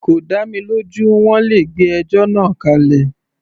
Kò dá mi lójú, wọ́n le gbé ẹjọ́ náà kálẹ̀.